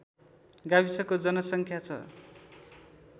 गाविसको जनसङ्ख्या छ